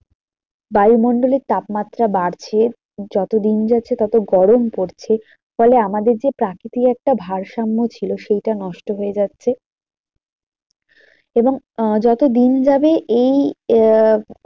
বায়ুমণ্ডলের তাপমাত্রা বাড়ছে যত দিন যাচ্ছে তত গরম পড়ছে ফলে আমাদের যে প্রাকৃতিক একটা ভারসাম্য ছিল সেটা নষ্ট হয়ে যাচ্ছে। এবং আহ যত দিন যাবে এই আহ